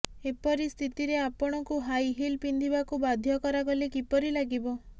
ଏପରି ସ୍ଥିତିରେ ଆପଣଙ୍କୁ ହାଇ ହିଲ୍ ପିନ୍ଧିବାକୁ ବାଧ୍ୟ କରାଗଲେ କିପରି ଲାଗିବ